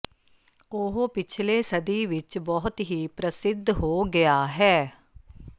ਉਹ ਪਿਛਲੇ ਸਦੀ ਵਿੱਚ ਬਹੁਤ ਹੀ ਪ੍ਰਸਿੱਧ ਹੋ ਗਿਆ ਹੈ